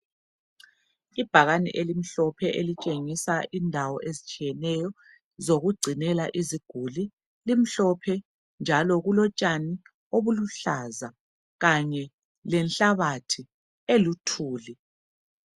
Ibhakani elimhlophe elitshengisa indawo ezitshiyeneyo zokugcinela iziguli. Limhlophe njalo kulotshani obuluhlaza kanye lenhlabathi eluthuli